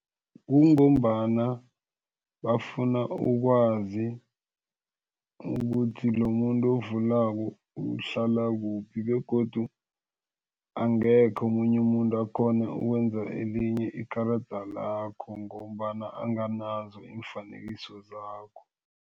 Kungombana bafuna ukwazi ukuthi lomuntu ovulako uhlalakuphi begodu angekhe omunye umuntu akhone ukwenza elinye ikarada lakho ngombana anganazo iimfanekiso zakho.